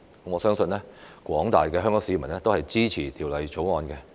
我相信廣大香港市民也支持《條例草案》。